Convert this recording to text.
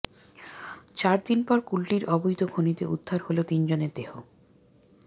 চারদিন পর কুলটির অবৈধ খনিতে উদ্ধার হল তিনজনের দেহ